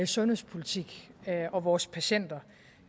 sundhedspolitik og vores patienter